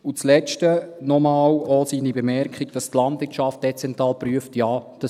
Zuletzt noch einmal seine Bemerkung, dass die Landwirtschaft dezentral geprüft wird.